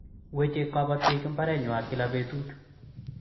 weche kabotik mbarengwany kla betut